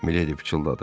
Miledi pıçıldadı.